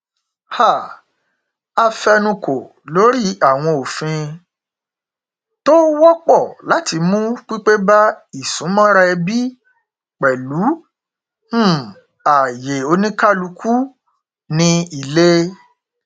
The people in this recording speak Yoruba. um a fẹnukò lórí àwọn òfin tó wọpọ láti mú pípé bá isúnmọra ẹbí pẹlú um ààyè oníkálukú ní ilé